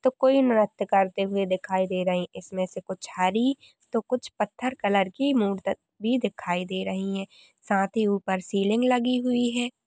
तो कोई नृत्य करते हुए दिखाई दे रहे हैं । इसमें से कुछ हरी तो कुछ पत्थर कलर की मूर्ति दे रही है साथ ही ऊपर सीलिंग लगी हुई है ।